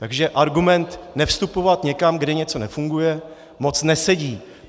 Takže argument nevstupovat někam, kde něco nefunguje, moc nesedí.